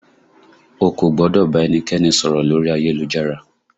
O kò gbọ́dọ̀ bá ẹnikẹ́ni sọ̀rọ̀ lórí ayélujára!